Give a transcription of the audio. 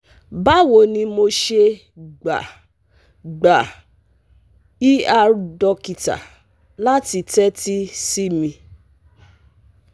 Bawo ni mo ṣe gba gba ER dokita lati tẹtisi mi?